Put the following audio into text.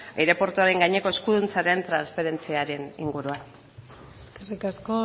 aireportuaren gaineko eskuduntzaren transferentziaren inguruan eskerrik asko